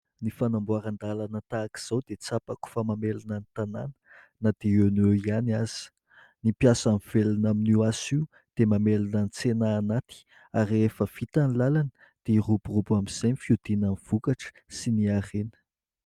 Ny fanamboaran-dalana tahaka izao dia tsapako fa mamelona ny tanàna na dia eo no eo ihany aza ; ny mpiasa mivelona amin'io asa io dia mamelona ny tsena anaty ary efa vita ny lalana dia miroborobo amin'izay ny fiodinany vokatra sy ny harena.